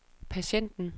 patienten